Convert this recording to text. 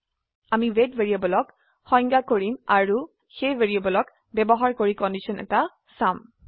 আমি ৱেইট ভ্যাৰিয়েবলক সংজ্ঞা কৰিম আৰু সেই ভ্যাৰিয়েবলক ব্যৱহাৰ কৰি কন্ডিশন এটা চাম